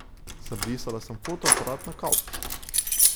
Zabrisala sem fotoaparat na kavč.